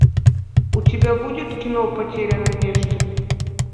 у тебя будет кино потеря надежды